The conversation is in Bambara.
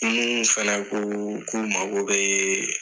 Ninnu fɛnɛ ku ku mago bɛɛ